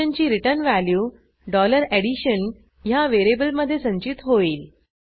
फंक्शनची return value addition ह्या व्हेरिएबलमधे संचित होईल